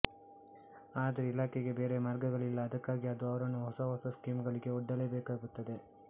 ಆದರೆ ಇಲಾಖೆಗೆ ಬೇರೆ ಮಾರ್ಗಗಳಿಲ್ಲ ಅದಕ್ಕಾಗಿ ಅದು ಅವರನ್ನು ಹೊಸ ಹೊಸ ಸ್ಕೀಮ್ ಗಳಿಗೆ ಒಡ್ಡಲೇಬೇಕಾಗುತ್ತದೆ